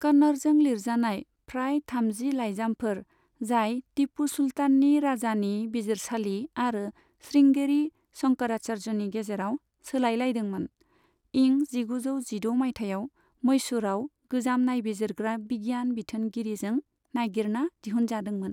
कन्नड़जों लिरजानाय फ्राय थामजि लाइजामफोर, जाय टिपु सुल्ताननि राजानि बिजिरसालि आरो श्रृंगेरी शंकराचार्यनि गेजेराव सोलाय लायदोंमोन, इं जिगुजौ जिद' माइथायाव मैसुरआव गोजाम नायबिजिरग्रा बिगियान बिथोनगिरिजों नागिरना दिहुनजादोंमोन।